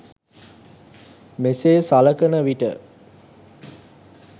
මෙසේ සලකනවිට